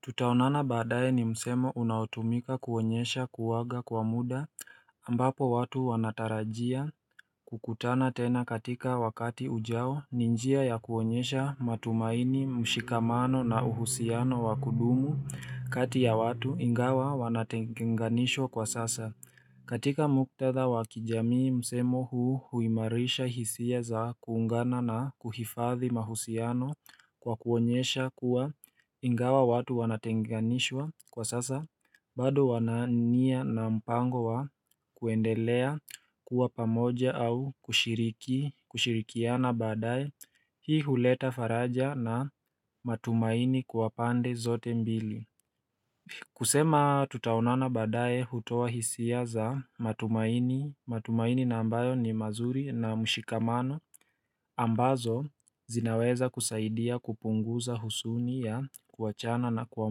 Tutaonana badaye ni msemo unaotumika kuonyesha kuaga kwa muda ambapo watu wanatarajia kukutana tena katika wakati ujao ni njia ya kuonyesha matumaini mshikamano na uhusiano wa kudumu kati ya watu ingawa wanatenganishwa kwa sasa katika muktadha wa kijamii msemo huu huimarisha hisia za kuungana na kuhifadhi mahusiano kwa kuonyesha kuwa ingawa watu wanatenganishwa kwa sasa bado wana nia na mpango wa kuendelea kuwa pamoja au kushiriki kushirikiana baadaye hii huleta faraja na matumaini kwa pande zote mbili kusema tutaonana badaye hutoa hisia za matumaini matumaini na ambayo ni mazuri na mshikamano ambazo zinaweza kusaidia kupunguza huzuni ya kuachana na kwa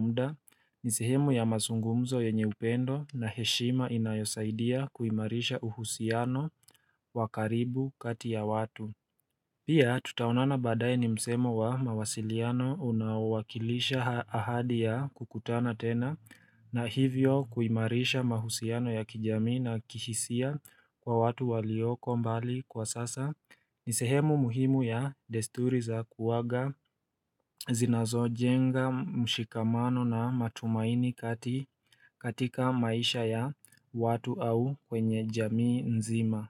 muda ni sehemu ya mazungumzo yenye upendo na heshima inayosaidia kuimarisha uhusiano wa karibu kati ya watu Pia tutaonana badaye ni msemo wa mawasiliano unaowakilisha ahadi ya kukutana tena na hivyo kuimarisha mahusiano ya kijamii na kihisia kwa watu walioko mbali kwa sasa ni sehemu muhimu ya desturi za kuaga zinazojenga mshikamano na matumaini katika maisha ya watu au kwenye jamii nzima.